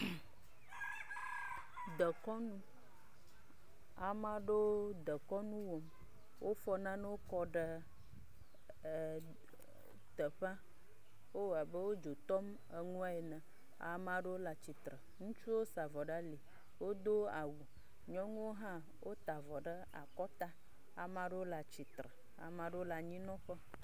Dekɔnu, ame aɖewo dekɔnu wɔm wofɔ nanewo kɔ ɖe e..e teƒea wowɔe aeb wo dzo tɔm nane ene, amewo le tsitre, wosa avɔ ɖe ali, wodo awu nyɔnuwo hã wota avɔ ɖe akɔta ame aɖewo le atsitre ame aɖewo le anyinɔƒe.